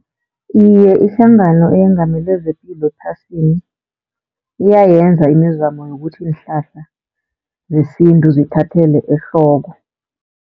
Iye, ihlangano eyengamele zepilo ephasini iyayenza imizamo yokuthi iinhlahla zesintu zithathelwe ehloko.